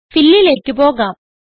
Fillലേക്ക് പോകാം